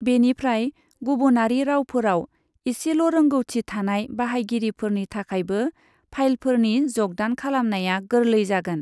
बिनिफ्राय गुबुनारि रावफोराव एसेल' रोंगौथि थानाय बाहायगिरिफोरनि थाखायबो फाइलफोरनि ज'गदान खालामनाया गोरलै जागोन।